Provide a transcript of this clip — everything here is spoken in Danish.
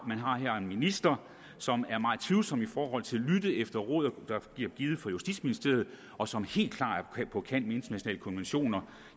en minister som er meget tvivlsom i forhold til at lytte efter råd der bliver givet fra justitsministeriet og som helt klart er på kant til med internationale konventioner